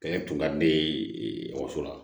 Kɛɲɛ tun ka di ne ye okɔso la